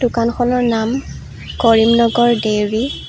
দোকানখনৰ নাম কৰিম নগৰ ডেইৰী।